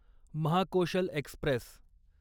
Mahakoshal Express